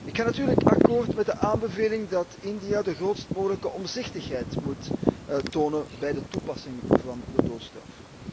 Ik ga natuurlijk akkoord met de aanbeveling dat India de grootst mogelijke omzichtigheid moet tonen bij de toepassing van de doodstraf.